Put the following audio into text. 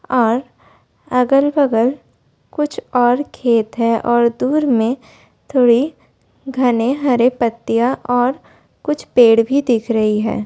और अगल-बगल कुछ और खेत है और दूर में थोड़े घने हरे पत्तियां और कुछ पेड़ भी दिख रही है।